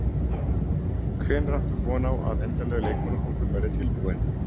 Hvenær áttu von á að endanlegur leikmannahópur verði tilbúinn?